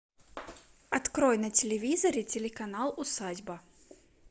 открой на телевизоре телеканал усадьба